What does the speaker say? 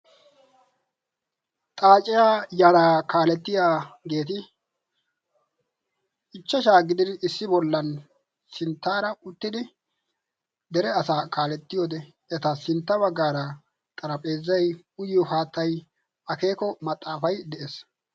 Xaaciyaa yaraa kaalettiya geeti ichchashaa gidin issi bollan sinttaara uttidi dere asaa kaalettiyoode eta sintta baggaara xarapheezai uyyo haattay akeeko maxaafai de'ees.